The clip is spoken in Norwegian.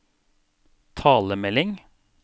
talemelding